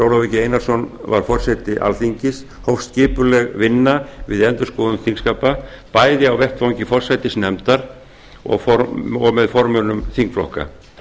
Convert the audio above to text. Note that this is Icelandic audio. ólafur g einarsson var forseti alþingis hófst skipuleg vinna við endurskoðun þingskapa bæði á vettvangi forsætisnefndar og með formönnum þingflokka